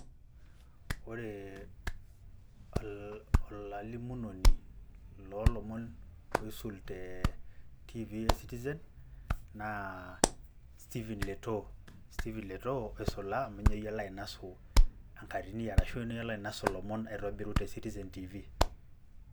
Oree ol-olalimunoni loolomon oisul tee tiivi e [cs?sitizen naa Stephen Letoo, Stephen Letoo oisula amu ninye oyiolo ainosu enkatini arashu ninye oyiolo ainosu ilomon aitobiru te sitizen tiivi.